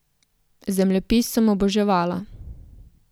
Zemljepis sem oboževala.